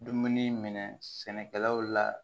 Dumuni minɛ sɛnɛkɛlaw la